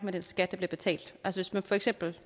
en ganske